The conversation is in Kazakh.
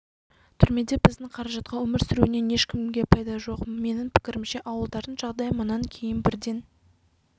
түрмеде біздің қаражатқа өмір сүруінен ешкімге пайда жоқ менің пікірімше ауылдардың жағдайы мұнан кейін бірден